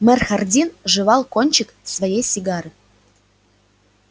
мэр хардин жевал кончик своей сигары